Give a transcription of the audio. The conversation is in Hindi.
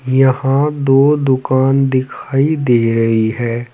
यहां दो दुकान दिखाई दे रही है।